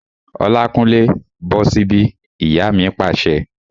Olákúnlé, bọ́ sí bí! Ìyá mi pàṣẹ